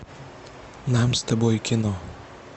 нам с тобой кино